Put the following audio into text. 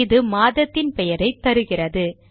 இது மாதத்தின் பெயரை தருகிறது